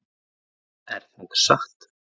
Er það satt?